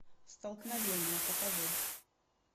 столкновение покажи